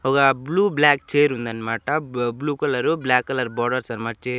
ఒక blue black chair ఉంది అన్నమాట blue colour black colour borders అన్నమాట చై --